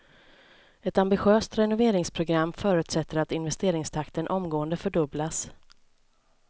Ett ambitiöst renoveringsprogram förutsätter att investeringstakten omgående fördubblas.